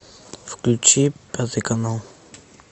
включи пятый канал